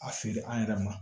A feere an yɛrɛ ma